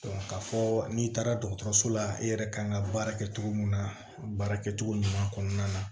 k'a fɔ n'i taara dɔgɔtɔrɔso la i yɛrɛ kan ka baara kɛ togo min na baarakɛ cogo ɲuman kɔnɔna na